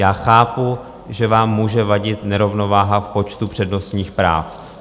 Já chápu, že vám může vadit nerovnováha v počtu přednostních práv.